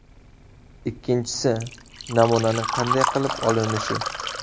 Ikkinchisi, namunaning qanday qilib olinishi.